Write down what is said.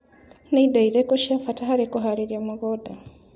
Nĩ indo irĩkũ cia bata harĩ kũharĩria mũgũnda.